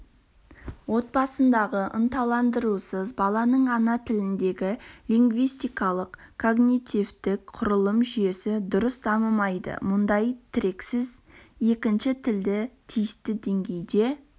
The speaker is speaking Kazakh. отбасындағы ынталандырусыз баланың ана тіліндегі лингвистикалық-когнитивтік құрылым жүйесі дұрыс дамымайды мұндай тірексіз екінші тілді тиісті деңгейде